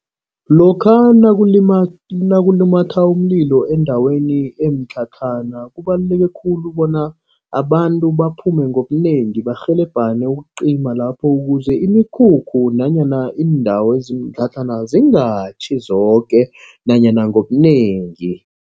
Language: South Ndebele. Lokha nakulumatha umlilo endaweni yemitlhatlhana. Kubaluleke khulu bona abantu baphume ngobunengi barhelebhane ukucima lapho. Ukuze imikhulu nanyana indawo ezinemitlhatlhana zingatjhi zoke nanyana ngobunengi.